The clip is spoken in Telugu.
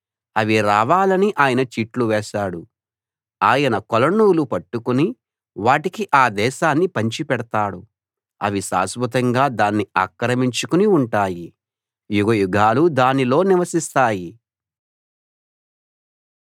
అవి రావాలని ఆయన చీట్లు వేశాడు ఆయన కొలనూలు పట్టుకుని వాటికి ఆ దేశాన్ని పంచిపెడతాడు అవి శాశ్వతంగా దాన్ని ఆక్రమించుకుని ఉంటాయి యుగయుగాలు దానిలో నివసిస్తాయి